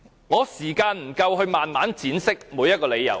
我沒有足夠時間慢慢闡釋每一個理由。